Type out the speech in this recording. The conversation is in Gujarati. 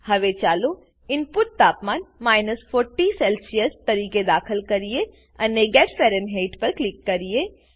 હવે ચાલો ઈનપુટ તાપમાન 40 સેલ્સીઅસ તરીકે દાખલ કરીએ અને ગેટ ફેરનહેઇટ પર ક્લિક કરીએ